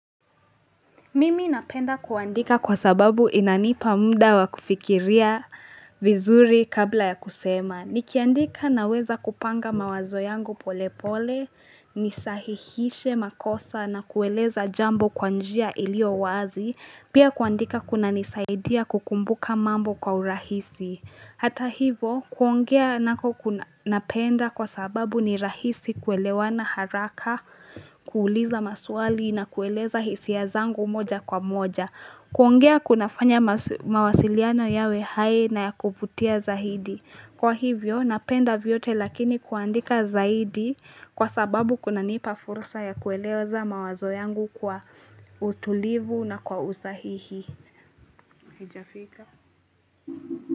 Mimi napenda kuandika kwa sababu inanipa muda wakufikiria vizuri kabla ya kusema. Nikiandika naweza kupanga mawazo yangu pole pole, nisahihishe makosa na kueleza jambo kwa njia iliyowazi, pia kuandika kunanisaidia kukumbuka mambo kwa urahisi. Hata hivo, kuongea nako napenda kwa sababu ni rahisi kuelewana haraka, kuuliza maswali na kueleza hisia zangu moja kwa moja. Kuongea kunafanya mawasiliano yawe hai na ya kuvutia zaidi. Kwa hivyo, napenda vyote lakini kuandika zaidi kwa sababu kuna nipa fursa ya kueleza mawazo yangu kwa utulivu na kwa usahihi.